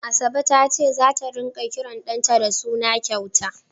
Asabe ta ce zata ringa kiran ɗanta da suna kyauta.